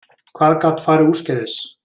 Hvað gat farið úrskeiðis?